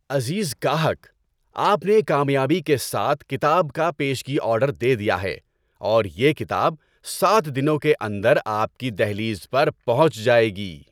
عزیز گاہک! آپ نے کامیابی کے ساتھ کتاب کا پیشگی آرڈر دے دیا ہے اور یہ کتاب سات دنوں کے اندر آپ کی دہلیز پر پہنچ جائے گی۔